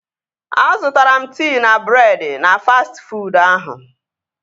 Azụtara m tii na breedị na fastị fuud ahụ